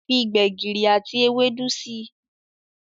Fí gbegiri àti Ewédú sí.